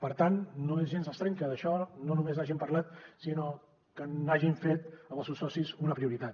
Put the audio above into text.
per tant no és gens estrany que d’això no només n’hagin parlat sinó que n’hagin fet amb els seus socis una prioritat